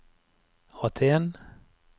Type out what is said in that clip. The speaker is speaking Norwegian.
Aten